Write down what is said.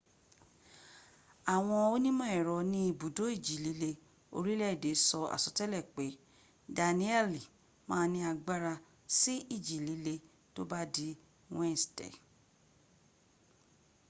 àwọn onímọ̀ ẹ̀rọ ní ibùdó ìjì líle orílẹ̀ èdè sọ àsọtẹ́lẹ̀ pé danielle ma ní agbára sí ìjì líle tó bá di wednesday